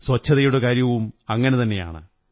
സ്വച്ഛതയുടെ കാര്യവും അങ്ങനെതന്നെയാണ്